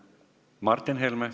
Martin Helme.